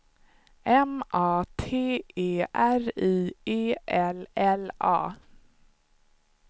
M A T E R I E L L A